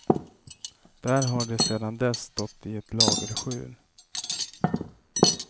Där har de sedan dess stått i ett lagerskjul.